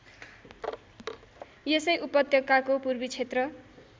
यसै उपत्यकाको पूर्वीक्षेत्र